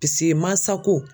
Piseke mansako